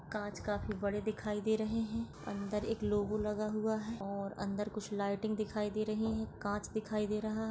कांच काफी बड़े दिखाई दे रहे है अंदर एक लोगो लगा हुआ है और अंदर लाइटिंग दिखाई दे रही है कांच दिखाई दे रहा--